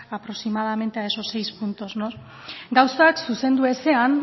aproximadamente a esos seis puntos gauzak zuzendu ezean